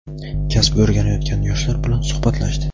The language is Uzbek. kasb o‘rganayotgan yoshlar bilan suhbatlashdi.